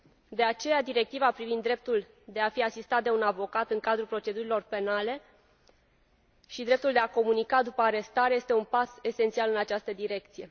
De aceea, Directiva privind dreptul de a fi asistat de un avocat în cadrul procedurilor penale și dreptul de a comunica după arestare este un pas esențial în această direcție.